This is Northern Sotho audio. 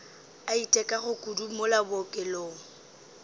a itekago kudu mola bookelong